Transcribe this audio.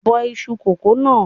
Bọ iṣu kókò náà!